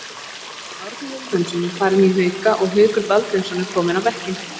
Árni Vilhjálmsson er farinn í Hauka og Haukur Baldvinsson er kominn á bekkinn.